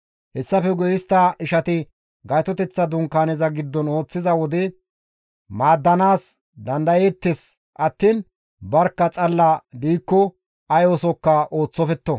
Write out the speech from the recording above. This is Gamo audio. Hessafe guye istta ishati Gaytoteththa Dunkaaneza giddon ooththiza wode maaddanaas dandayeettes attiin barkka xalla diikko ay oosokka ooththofetto.»